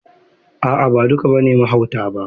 A'a ba duk ne mahauta ba.